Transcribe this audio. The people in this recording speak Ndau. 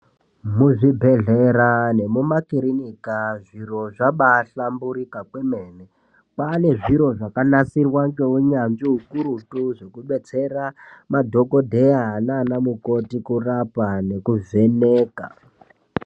Muzvibhedhlera nemumakirinika zviro zvabaahlamburika kwemene, kwane zviro zvakanasirwa ngeunyanzvi ukurutu kudetsera madhokodheya nanamukoti kurapa nekuvheneka.